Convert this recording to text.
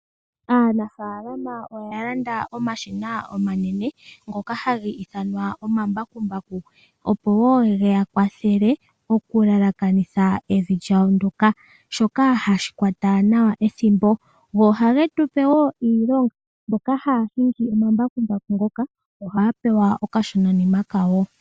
Aanafaalama oya landa omashina omanene ngoka haga ithanwa omambakumbaku. Ogo wo hage ya kwathele okuyelekanitha omavi gawo ngoka , shoka hashi kwata nawa ethimbo. Go ohage tupe wo iilonga, mboka haya hingi omambakumbaku ngoka ohaya pewa okashonanima kawo.